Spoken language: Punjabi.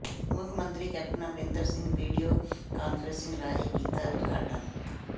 ਮੁੱਖ ਮੰਤਰੀ captain Amarinder Singh video conferencing ਰਾਹੀਂ ਕੀਤਾ ਉਦਘਾਟਨ